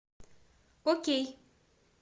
окей